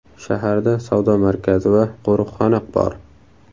Shaharda savdo markazi va qo‘riqxona bor.